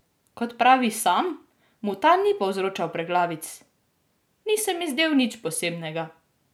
Kot pravi sam, mu ta ni povzročal preglavic: "Ni se mi zdel nič posebnega.